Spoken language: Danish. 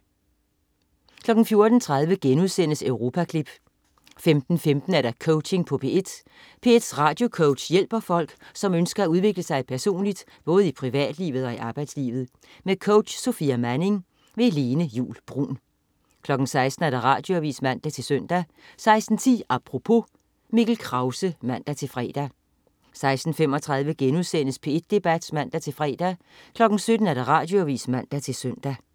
14.30 Europaklip* 15.15 Coaching på P1. P1s radiocoach hjælper folk, som ønsker at udvikle sig personligt, både i privatlivet og i arbejdslivet. Med coach Sofia Manning. Lene Juul Bruun 16.00 Radioavis (man-søn) 16.10 Apropos. Mikkel Krause (man-fre) 16.35 P1 Debat* (man-fre) 17.00 Radioavis (man-søn)